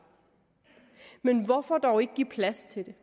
men hvorfor dog ikke give plads til det